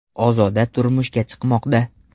Ozoda turmushga chiqmoqda.